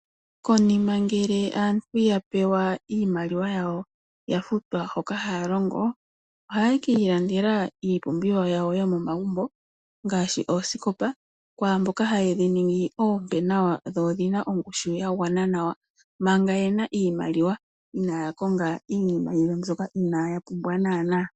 Konima ngele aantu ya pewa iimaliwa yawo ohaye kiilandela iipumbiwa yawo yomomagumbo ngaashi oosikopa kwaamboka haye dhiningi oompe nawa dho odhina ongushu yagwana nawa, manga yena iimaliwa inaaya konga iinima yimwe mbyoka inaaya pumbwa naanaa.